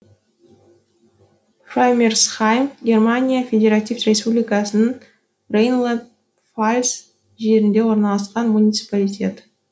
фраймерсхайм германия федеративтік республикасының рейнланд пфальц жерінде орналасқан муниципалитет